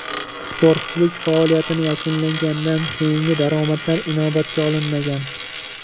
Sportchilik faoliyatini yakunlagandan keyingi daromadlar inobatga olinmagan.